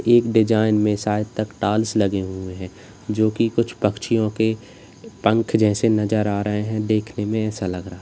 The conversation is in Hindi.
एक डिजाइन में साइड तक टाइल्स लगे हुए हैं जो कि कुछ पक्षियों के पंख जैसे नजर आ रहे हैं देखने में ऐसा लग रहा है।